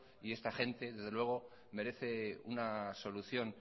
y esta gente desde luego merece una solución